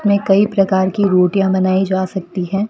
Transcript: में कई प्रकार की रोटियां बनाई जा सकती हैं।